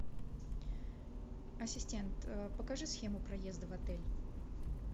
ассистент покажи схему проезда в отель